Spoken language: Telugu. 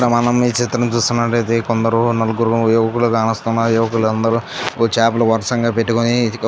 మనము ఈ చిత్రం చూస్తున్నట్టయితే కొందరు నలుగురు యువకులు కానొస్తున్నా యువకులందరూ ఒ చేపలు వరసంగా పెట్టుకొని --